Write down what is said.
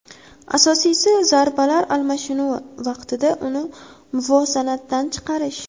Asosiysi, zarbalar almashinuvi vaqtida uni muvozanatdan chiqarish.